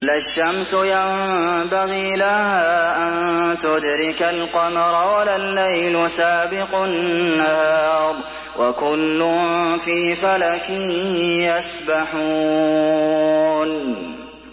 لَا الشَّمْسُ يَنبَغِي لَهَا أَن تُدْرِكَ الْقَمَرَ وَلَا اللَّيْلُ سَابِقُ النَّهَارِ ۚ وَكُلٌّ فِي فَلَكٍ يَسْبَحُونَ